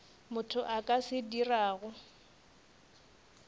motho a ka se dirago